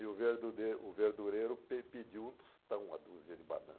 E o verdure o verdureiro pe pediu um tostão, uma dúzia de